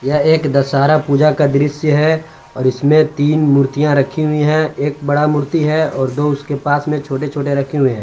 यह एक दशहरा पूजा का दृश्य है और इसमें तीन मूर्तियां रखी हुई है एक बड़ा मूर्ति है और दो उसके पास में छोटे छोटे रखे हुए हैं।